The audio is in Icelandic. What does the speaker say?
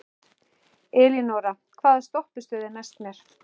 Elínora, hvaða stoppistöð er næst mér?